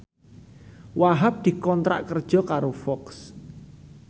Wahhab dikontrak kerja karo Fox